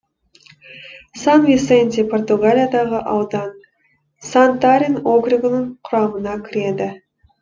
сан висенте португалиядағы аудан сантарен округінің құрамына кіреді